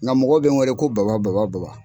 Nka mɔgɔ be n weele ko baba baba baba